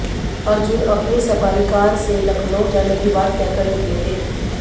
अर्जुन अपनी Safari car से लखनऊ जाने की बात कहकर निकले थे